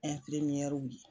An ka la.